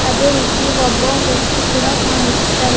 ಅದೇ ರೀತಿ ಒಬ್ಬ ವ್ಯಕ್ತಿ ಕೂಡ ಕಾಣಸ್ತ--